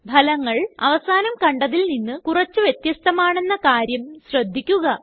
ഫലങ്ങള് അവസാനം കണ്ടതിൽ നിന്ന് കുറച്ച് വ്യത്യസ്തമാണ് എന്ന കാര്യം ശ്രദ്ധിക്കുക